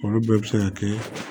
Olu bɛɛ bɛ se ka kɛ